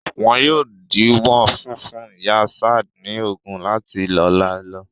Wọn yóò díwọ́ funfun ìyá Ṣad ní oògùn láti ọ̀la lọ.